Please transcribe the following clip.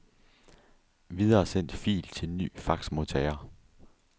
Videresend fil til ny faxmodtager.